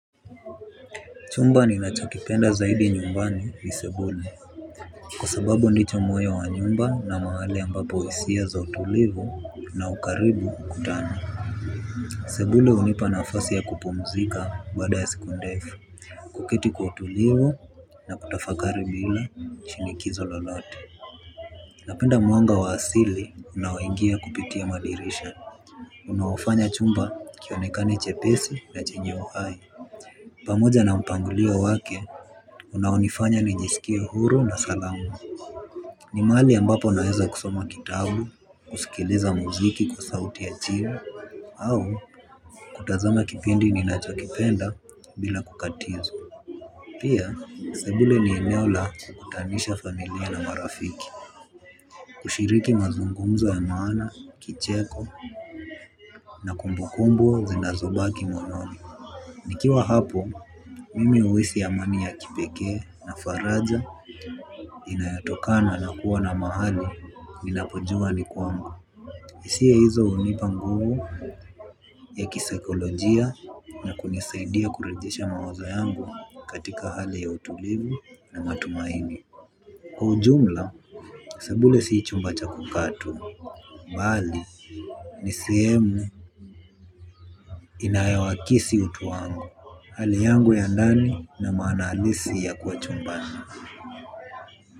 Chumba ninachokipenda zaidi nyumbani ni Sebule. Kwa sababu ndicho moyo wa nyumba na mahali ambapo hisia za utulivu na ukaribu kutana. Sebule hunipa nafasi ya kupumzika baada ya siku ndefu. Kuketi kwa utulivu na kutafakari bila shinikizo lolote. Napenda mwanga wa asili unaoingia kupitia madirisha. Unaofanya chumba kionekane chepesi na chenye uhai. Pamoja na mpangulio wake, unaonifanya nijisikea huru na salama. Ni mahali ambapo naeza kusoma kitabu, kusikiliza muziki kwa sauti ya chini au, kutazama kipindi ni nachokipenda bila kukatizwa. Pia, sebule ni eneo la kutanisha familia na marafiki. Kushiriki mazungumzo ya maana, kicheko, na kumbukumbu, zinazobaki moyoni. Nikiwa hapo, mimi huhisi amani ya kipekee na faraja inayotokana na kuwa na mahali ninapojua ni kwangu hIsia hizo hunipa nguvu ya kisekolojia na kunisaidia kurejesha mawazo yangu katika hali ya utulivu na matumaini. Kwa ujumla, sebule si chumba cha kukaa tu. Mbali, nisihemu inayowakisi utu wangu. Hali yangu ya ndani na maana alisi ya kuwa chumbani.